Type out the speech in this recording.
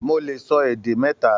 Mó lè sọ èdè mẹta.